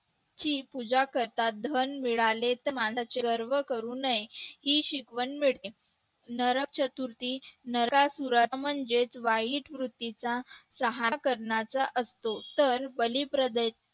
ची पूजा करतात धन मिळाले तर वरवर करू नये ही शिकवण मिळते नरक चतुर्थी नरकासुराचा म्हणजेच वाईट वृत्तीचा सहार करण्याचा असतो तर बलिप्रतीच्या